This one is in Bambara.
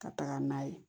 Ka taga n'a ye